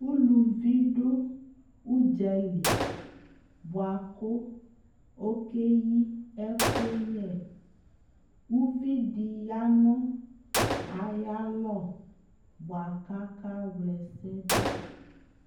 ʋlʋvi dʋ ʋdzali bʋakʋ ɔkɛyi ɛkʋyɛ, ʋvidi yanʋ ayialɔ bʋaka wlɛsɛ dʋ